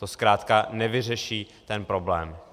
To zkrátka nevyřeší ten problém.